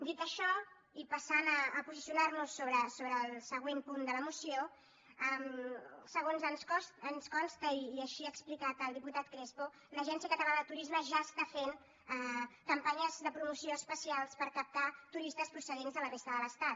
dit això i passant a posicionarnos sobre el següent punt de la moció segons ens consta i així ho ha explicat el diputat crespo l’agència catalana de turisme ja està fent campanyes de promoció especials per captar turistes procedents de la resta de l’estat